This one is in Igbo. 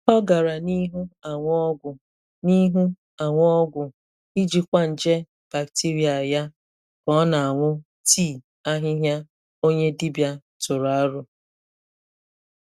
Ọ gàra n'ihu aṅụ ọgwụ n'ihu aṅụ ọgwụ ijikwa nje bacteria ya ka ọ na-aṅụ tii ahịhịa onye dibịa tụrụ aro.